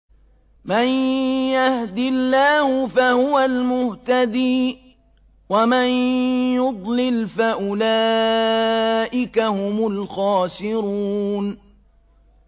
مَن يَهْدِ اللَّهُ فَهُوَ الْمُهْتَدِي ۖ وَمَن يُضْلِلْ فَأُولَٰئِكَ هُمُ الْخَاسِرُونَ